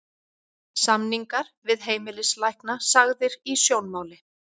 Samningar við heimilislækna sagðir í sjónmáli